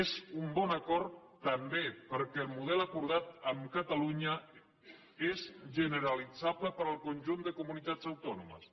és un bon acord també perquè el model acordat amb catalunya és generalitzable per al conjunt de comunitats autònomes